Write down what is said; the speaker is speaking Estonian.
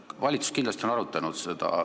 Valitsus on seda kindlasti arutanud.